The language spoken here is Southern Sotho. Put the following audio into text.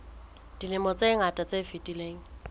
dilemong tse ngata tse fetileng